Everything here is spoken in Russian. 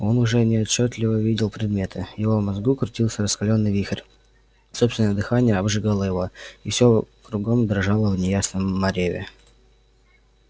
он уже неотчётливо видел предметы в его мозгу крутился раскалённый вихрь собственное дыхание обжигало его и все кругом дрожало в неясном мареве